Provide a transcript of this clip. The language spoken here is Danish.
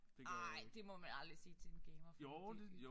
Nej det må man aldrig sige til en gamer for det